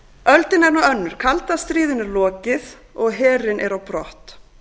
öldin er nú önnur kalda stríðinu lokið og herinn á brott